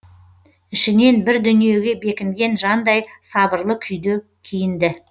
ішінен бір дүниеге бекінген жандай сабырлы күйде киінді